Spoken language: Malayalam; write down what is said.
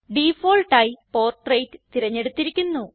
ഡിഫാൾട്ടായി പോർട്രെയ്റ്റ് തിരഞ്ഞെടുത്തിരിക്കുന്നു